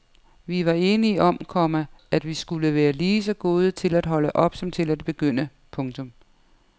Vi var enige om, komma at vi skulle være lige så gode til at holde op som til at begynde. punktum